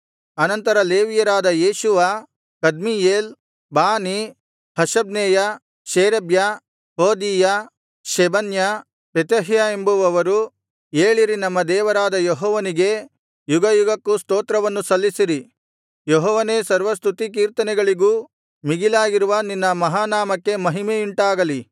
ಆನಂತರ ಲೇವಿಯರಾದ Jeshua Kadmiel Bani Hashabneiah Sherebiah Hodiah Shebaniah Pethahiah ಎಂಬುವವರು ಏಳಿರಿ ನಮ್ಮ ದೇವರಾದ ಯೆಹೋವನಿಗೆ ಯುಗಯುಗಕ್ಕೂ ಸ್ತೋತ್ರವನ್ನು ಸಲ್ಲಿಸಿರಿ ಯೆಹೋವನೇ ಸರ್ವಸ್ತುತಿ ಕೀರ್ತನೆಗಳಿಗೂ ಮೀಗಿಲಾಗಿರುವ ನಿನ್ನ ಮಹಾನಾಮಕ್ಕೆ ಮಹಿಮೆಯುಂಟಾಗಲಿ